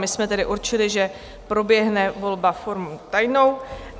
My jsme tedy určili, že proběhne volba formou tajnou.